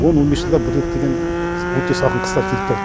он он бес жылда бір рет деген өте салқын қыстар келіп тұрады